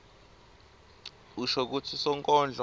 usho kutsi sonkondlo